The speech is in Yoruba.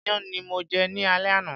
Iyán ni mo jẹ ní alé àná.